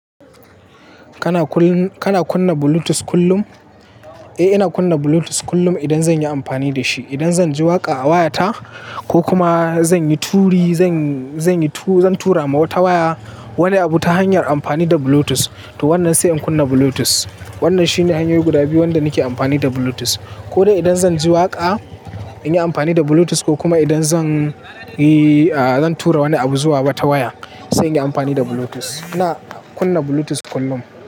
Kana kunna Bluetooth kullum? Eh, ina kunna Bluetooth kullum idan zan yi amfani da shi. Idan zan ji waƙa a wayata ko kuma zan tura ma wata waya wani abu ta hanyar amfani da Bluetooth, to wannan sai in kunna Bluetooth. Wannan shine hanyoyi guda biyu wanda nake amfani da Bluetooth. Ko dai idan zan ji waƙa in yi amfani da Bluetooth ko kuma idan zan tura wani abu zuwa wata waya sai in yi amfani da Bluetooth. Ina kunna Bluetooth kullum.